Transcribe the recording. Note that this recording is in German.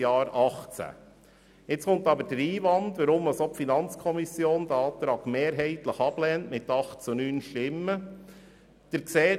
Jetzt kommt aber der Einwand, weshalb auch die FiKo diesen Antrag mehrheitlich, mit 8 zu 9 Stimmen, ablehnt.